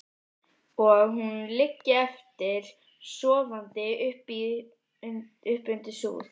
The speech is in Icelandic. Og hún liggi eftir, sofandi uppi undir súð.